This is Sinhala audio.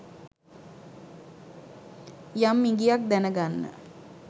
යම් ඉඟියක් දැන ගන්න